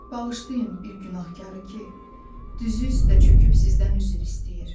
Bağışlayın bir günahkarı ki, düzü üstə çöküb sizdən üzr istəyir.